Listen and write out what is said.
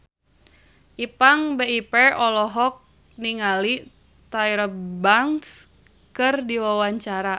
Ipank BIP olohok ningali Tyra Banks keur diwawancara